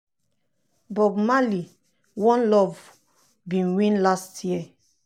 bob marley: one love bin win last year.